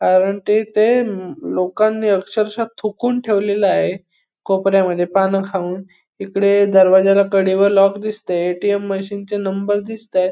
कारण तेथे म लोकांनी अक्षरशः थुकून ठेवलेला आहे कोपऱ्यामध्ये पान खाऊन इकडे दरवाजाला कडी व लॉक दिसतेय. ए.टी.एम. मशीन चे नंबर दिसताहेत.